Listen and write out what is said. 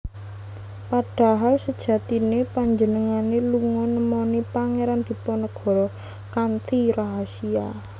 Padahal sejatiné panjenengané lunga nemoni Pangeran Diponegoro kanthi rahasia